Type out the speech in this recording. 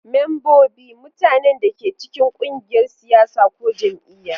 Membobi: Mutanen da ke cikin ƙungiyar siyasa ko jam'iyya.